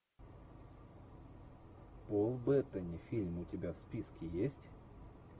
пол беттани фильм у тебя в списке есть